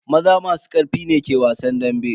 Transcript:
Maza masu karfi ne ke wasan dambe.